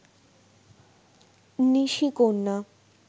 নিশিকন্যা